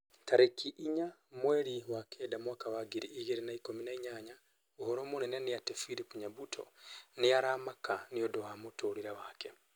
Tarĩki inya mweri wa kenda mwaka wa ngiri igĩrĩ na ikũmi na inyanya ũhoro mũnene nĩ ati philip nyabuto nĩ aramaka nĩũndũ wa mũtũrĩre wake